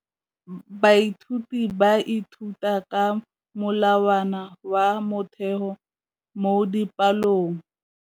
Baithuti ba ithuta ka molawana wa motheo mo dipalong.